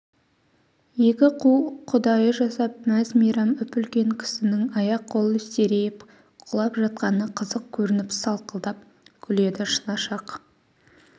екі қу құдайы жасап мәз-мейрам үп-үлкен кісінің аяқ-қолы серейіп құлап жатқаны қызық көрініп сақылдап күледі шынашақ